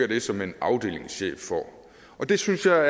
det som en afdelingschef får og det synes jeg